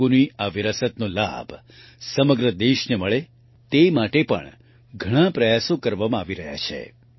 તેલુગુની આ વિરાસતનો લાભ સમગ્ર દેશને મળે તે માટે પણ ઘણા પ્રયાસો કરવામાં આવી રહ્યા છે